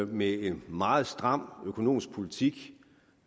med en meget stram økonomisk politik